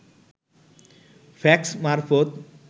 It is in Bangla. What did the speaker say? ফ্যাক্স মারফত